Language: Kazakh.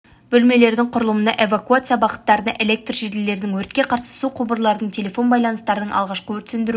бөлмелердің құрылымына эвакуация бағыттарына электр желілерінің өртке қарсы су құбырларының телефон байланыстарының алғашқы өрт сөндіру